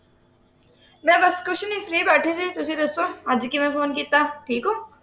ਮੈਂ ਬੱਸ ਕੁਝ ਨਹੀਂ free ਬੈਠੀ ਸੀ ਤੁਸੀਂ ਦੱਸੋ? ਅੱਜ ਕਿਵੇਂ ਫੋਨ ਕੀਤਾ ਠੀਕ ਹੋ